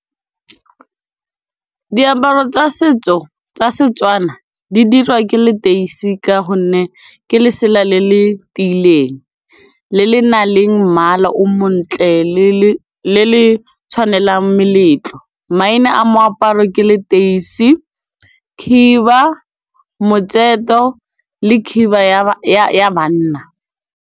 Diaparo tsa setso tsa Setswana di dirwa ke leteisi ka gonne ke lesela le le tiileng le le nang le mmala o montle le le tshwanelang meletlo, maina a moaparo ke leteise, khiba, motseto le khiba ya banna.